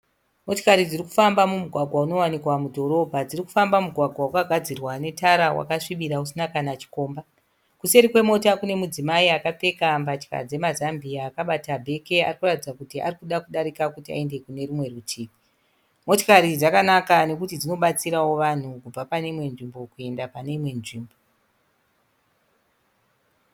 Motikari dziri kufamba mumugwagwa unowanikwa mudhorobha dziri kufamba mumugwagwa wakagadzirwa netara wakasvibira usina kana chikomba kuseri kwemota kune mudzimai akapfeka mbatya dzemazambiya akabata bheke ari kuratidza kuti ari kuda kudarika kuti aende kune rumwe rutivi motikari dzakanaka nokuti dzinobatsirawo vanhu kubva pane imwe nzvimbo kuenda pane imwe nzvimbo.